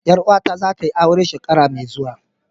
Yar uwata zatayi aure shekara mai zuwa.